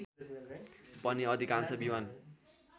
पनि अधिकांश विमान